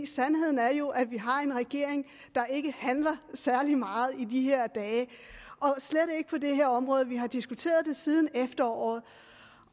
sandheden er jo at vi har en regering der ikke handler særlig meget i de her dage og slet ikke på det her område vi har diskuteret det siden efteråret